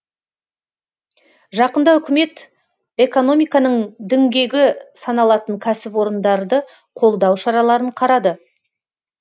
жақында үкімет экономиканың діңгегі саналатын кәсіпорындарды қолдау шараларын қарады